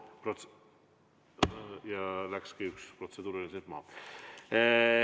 Ja nüüd läkski üks protseduuriline küsimus siit maha.